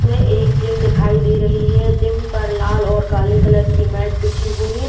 इसमें एक जिम दिखाई दे रही है। जिम पर लाल और काले कलर की मैट बिछी हुई --